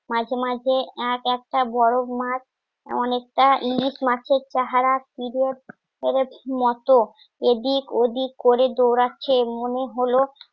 মাঝে মাঝে এক একটা বড় মাছ অনেকটা ইংলিশ মাছের চেহারা মতো এদিক ওদিক করে দৌড়াচ্ছে মনে হল